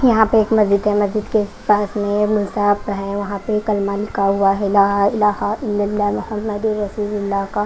यहाँ पे एक मस्जिद हैं मस्जिद के पास में वहाँ पे ये कलमा लिखा हुवा हैं इलाहा इलाहा इललाला हम्मदुसुरसूलुल्लाह का--